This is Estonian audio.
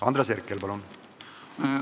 Andres Herkel, palun!